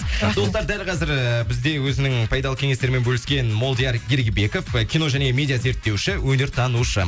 достар дәл бізде өзінің пайдалы кеңестерімен бөліскен молдияр ергебеков кино және медиа зерттеуші өнертанушы